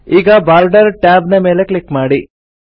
ಈಗ border tab ನ ಮೇಲೆ ಕ್ಲಿಕ್ ಮಾಡಿ